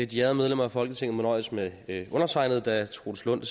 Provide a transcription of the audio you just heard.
de ærede medlemmer af folketinget må nøjes med undertegnede da troels lund